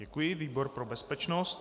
Děkuji, výbor pro bezpečnost.